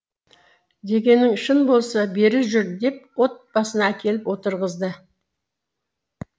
дегенің шын болса бері жүр деп от басына әкеліп отырғызды